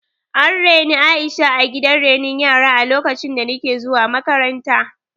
An raini Aisha a gidan renon yara a lokacin da nake zuwa makaranta